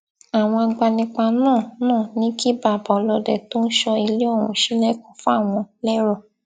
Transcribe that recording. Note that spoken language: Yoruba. àwọn agbanipa náà náà ní kí bàbá ọlọdẹ tó ń sọ ilé ọhún ṣílẹkùn fáwọn lérò